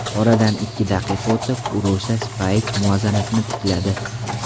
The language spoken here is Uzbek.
Oradan ikki daqiqa o‘tib Urosha Spayich muvozanatni tikladi.